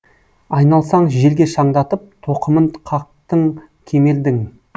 айналсаң желге шаңдатып тоқымын қақтың кемердің